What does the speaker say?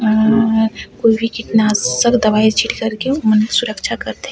उम्म कोई भी कीटनाशक दवाई छिड़क कर के मनुष्य सुरक्षा करथे ।--